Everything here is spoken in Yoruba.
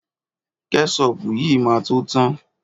Kẹ́ṣọpù yìí máa tó tán.